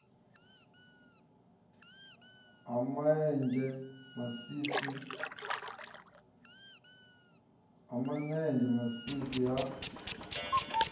ha ma enzhe masisi ha